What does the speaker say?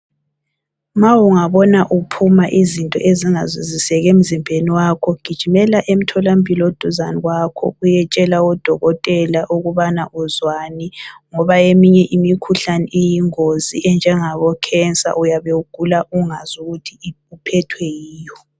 Ma ungabona uphuma izinto ezingazwisisekiyo emzimbeni wakho gijima uye emtholampilo oseduze kwakho uyetshela odokotela ukuba uzwani ngoba eminye imikhuhlane iyingozi, enjengabo khensa uyabe ugula ungazi ukuthi uphethwe yiyo.